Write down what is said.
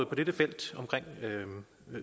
på dette felt omkring